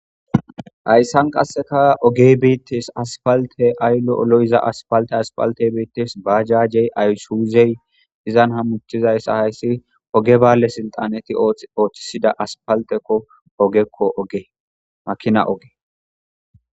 hayssan qasseka ogey beettes aspalte ayllo olo7iza aspalte aspaltey beettes baajajey aysuuzey izan hamuchizayssa hayssi oge bale silxaneti ooththisida aspaltekko ogekko gemakina oge